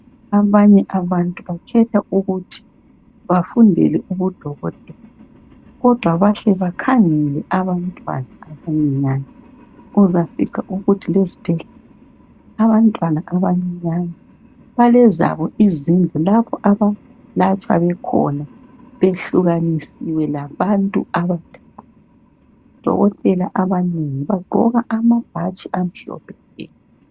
abanye abantu bakhetha ukuthi bafundele ubu dokotela kodwa bahle bakhangele abantwana abancinya uzafiza ukuthi esibhedlela abantwana abancinyane balezabo izinslu lapho abalatshwa bekhona behlukanisiwe labantu abadala o dokotela abanengi bagqoka amabhatshi amhlophe nke